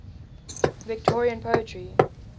victorian poetry